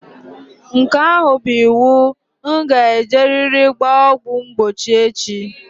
Nke ahụ bụ iwu. Nga e jeriri gbaa ọgwụ mgbochi echi.